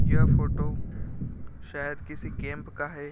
यह फोटो शायद किसी कैंप का है।